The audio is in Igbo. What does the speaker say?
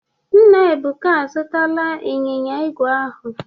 Nna Ebuka azụtara ịnyịnya igwe ahụ.